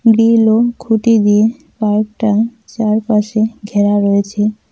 খুঁটি দিয়ে পাইপটার চারপাশে ঘেরা রয়েছে।